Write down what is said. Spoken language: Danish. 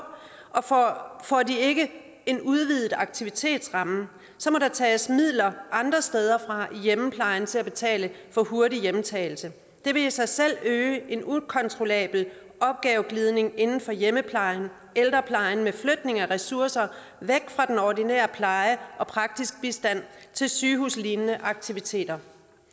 og får de ikke en udvidet aktivitetsramme må der tages midler andre steder fra i hjemmeplejen til at betale for hurtig hjemtagelse det vil i sig selv øge en ukontrollabel opgaveglidning inden for hjemmeplejen ældreplejen med flytning af ressourcer væk fra den ordinære pleje og praktisk bistand til sygehuslignende aktiviteter